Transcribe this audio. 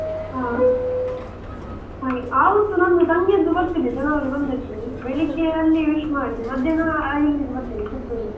ಹ ಹಾಗೆ ಆವತ್ತು ನನ್ನ ತಂಗಿಯದ್ದು birthday January ಒಂದಕ್ಕೆ ಬೆಳಿಗ್ಗೆ ಅಲ್ಲಿ wish ಮಾಡಿ ಮದ್ಯಾಹ್ನ ಇಲ್ಲಿಗೆ ಬರ್ತೇನೆ ಪುತ್ತೂರಿಗೆ.